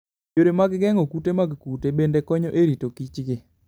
Yore mag geng'o kute mag kute bende konyo e rito kichgi.